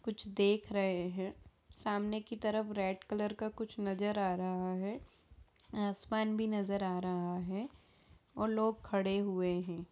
कुछ देख रहे है सामने की तरफ कुछ रेड कलर का कुछ नजर आ रहा है आसमान भी नजर आ रहा है और लोग खड़े हुए है।